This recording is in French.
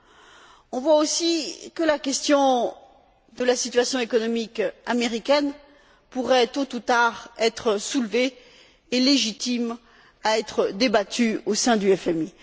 Nous voyons aussi que la question de la situation économique américaine pourrait, tôt ou tard, être soulevée et être légitimement débattue au sein du FMI.